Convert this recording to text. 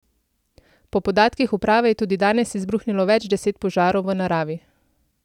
Po podatkih uprave je tudi danes izbruhnilo več deset požarov v naravi.